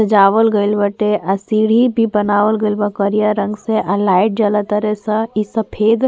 सजावल गइल बाटे। आ सीढ़ी भी बनावल गइल बाटे करिया रंग से। आ लाइट जल तरे स। इ सफ़ेद --